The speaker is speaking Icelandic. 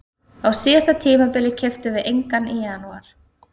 Á síðasta tímabili keyptum við engan í janúar.